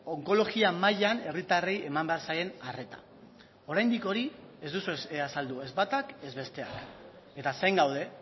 onkologia mailan herritarrei heman behar zaien arreta oraindik hori ez duzue azaldu ez batak ez besteak eta zain gaude